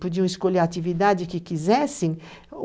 Podiam escolher a atividade que quisessem.